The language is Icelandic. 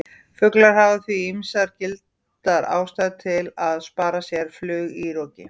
Fuglar hafa því ýmsar gildar ástæður til að spara sér flug í roki!